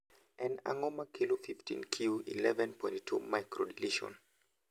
En ang'o ma kelo 15q11.2 microdeletion?